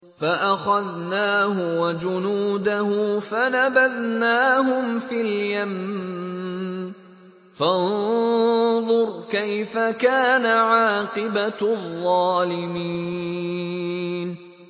فَأَخَذْنَاهُ وَجُنُودَهُ فَنَبَذْنَاهُمْ فِي الْيَمِّ ۖ فَانظُرْ كَيْفَ كَانَ عَاقِبَةُ الظَّالِمِينَ